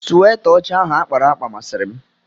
Sweta ọcha ahụ akpara akpa masịrị m.